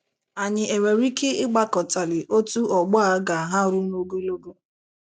Ànyị e nwere Ike Ịgbakọtali Otú “ Ọgbọ A ” Ga-aharu n’Ogologo?